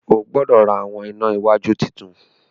O gbọdọ rá awọn ìnà iwájú títún?